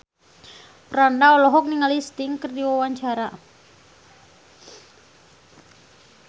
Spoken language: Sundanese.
Franda olohok ningali Sting keur diwawancara